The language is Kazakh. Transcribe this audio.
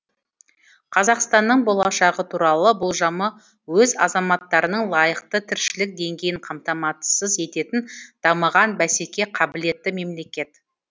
қазақстанның болашағы туралы болжамы өз азаматтарының лайықты тіршілік деңгейін қамтамасыз ететін дамыған бәсекеге қабілетті мемлекет